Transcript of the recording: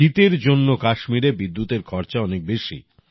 শীতের জন্য কাশ্মীরে বিদ্যুতের খরচা অনেক বেশি